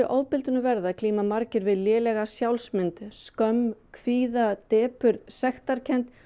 ofbeldinu verða glíma margir við lélega sjálfsmynd skömm kvíða depurð sektarkennd